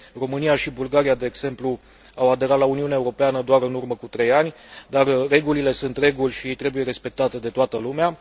România și Bulgaria, de exemplu, au aderat la Uniunea Europeană doar în urmă cu trei ani, dar regulile sunt reguli și trebuie respectate de toată lumea.